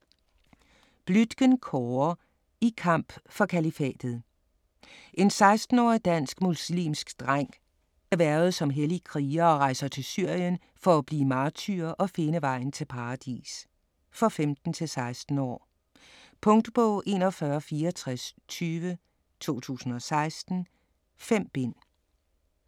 Bluitgen, Kåre: I kamp for Kalifatet En 16-årig dansk muslimsk dreng bliver hvervet som hellig kriger og rejser til Syrien for at blive martyr og finde vejen til paradis. For 15-16 år. Punktbog 416420 2016. 5 bind.